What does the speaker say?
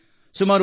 ಸುಮಾರು 1